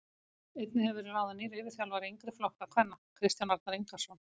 Einnig hefur verið ráðin nýr yfirþjálfari yngri flokka kvenna Kristján Arnar Ingason.